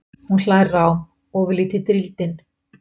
Hún hlær rám, ofurlítið drýldin.